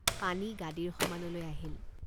পানী গাদীৰ সমানলৈ আহিল।